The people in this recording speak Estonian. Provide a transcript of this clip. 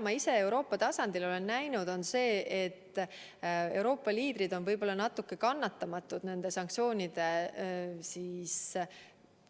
Ma ise olen Euroopa tasandil näinud seda, et Euroopa liidrid on natuke kannatamatud sanktsioonide